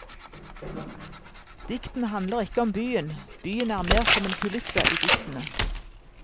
Diktene handler ikke om byen, byen er mer som en kulisse i diktene.